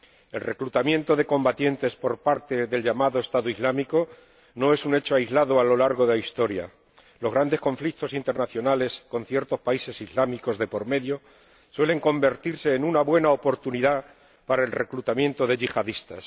El reclutamiento de combatientes por parte del llamado Estado Islámico no es un hecho aislado a lo largo de la historia los grandes conflictos internacionales con ciertos países islámicos de por medio suelen convertirse en una buena oportunidad para el reclutamiento de yihadistas.